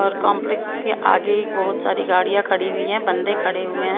और कॉम्प्लेक्स के आगे बहुत सारी गाड़ियां खड़ी हुई हैं बंदे खड़े हुए हैं।